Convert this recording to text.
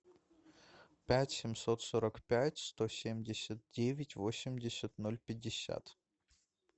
пять семьсот сорок пять сто семьдесят девять восемьдесят ноль пятьдесят